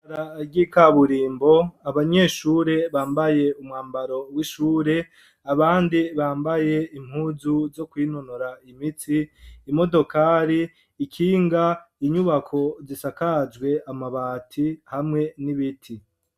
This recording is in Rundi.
Ibarabara ryi kaburimbo abanyeshure bambaye umwambaro w'ishure ,abandi bambaye impuzu zo kwinonora imitsi ,imodokari, ikinga ,inyubako zishakajwe amabati hamwe n'ibiti.